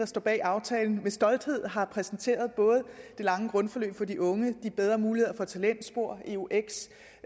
står bag aftalen med stolthed har præsenteret både det lange grundforløb for de unge de bedre muligheder for talentspor eux